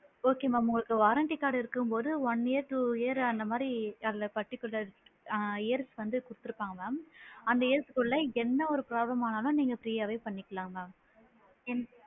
Okay mam உங்களுக்கு warranty card இருக்கும் போது one year two year அந்த மாதிரி அதுல particular ஆ year ருக்கு வந்து குடுத்து இருப்பாங்க mam அந்த year குள்ள என்ன ஒரு problem ஆனாலும் நீங்க free யாவே பண்ணிக்கலாம் mam என்